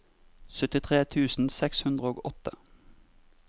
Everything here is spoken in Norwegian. syttitre tusen seks hundre og åtte